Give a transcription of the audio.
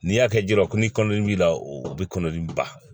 N'i y'a kɛ jɛgɛ ko ni kɔnɔdimi b'i la o bɛ kɔnɔdimi ba